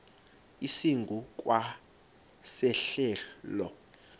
esingu kwa sehlelo